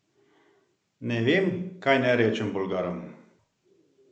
Nevem kaj naj rečem Bolgarom?